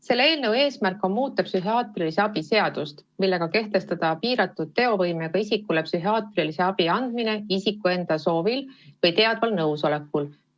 Selle eelnõu eesmärk on muuta psühhiaatrilise abi seadust, kehtestades piiratud teovõimega isiku õiguse saada psühhiaatrilist abi tema enda soovil või teadval nõusolekul.